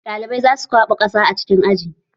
Ɗalibai za su kwaɓa ƙasa a cikin aji